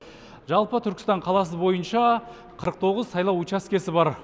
жалпы түркістан қаласы бойынша қырық тоғыз сайлау учаскесі бар